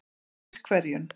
Kvískerjum